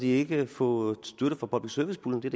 ikke kan få støtte fra public service puljen det